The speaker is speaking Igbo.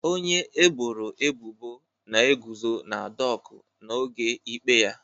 Onye eboro ebubo na-eguzo na dọkụ n'oge ikpe ya